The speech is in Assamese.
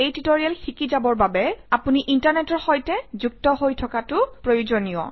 এই টিউটৰিয়েল শিকি যাবৰ বাবে আপুনি ইণ্টাৰনেটৰ সৈতে যুক্ত হৈ থকাটো প্ৰয়োজনীয়